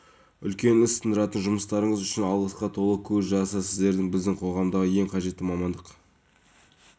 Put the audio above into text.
мәселелер бойынша жиі жүгінді дейді алматы облысы бойынша азаматтарға арналған үкімет коммерциялық емес акционерлік қоғамының